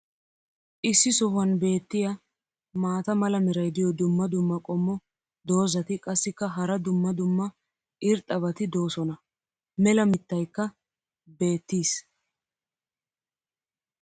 issi sohuwan beetiya maata mala meray diyo dumma dumma qommo dozzati qassikka hara dumma dumma irxxabati doosona. mela mitaykka beetiis.